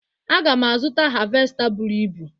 Aga m azụta havesta buru ibu